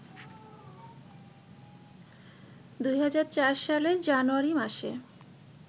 ২০০৪ সালের জানুয়ারি মাসে